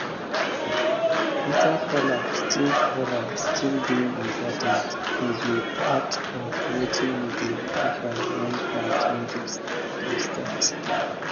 bitter kola still kola still dey important e dey part of wetin we dey offer when planting dey start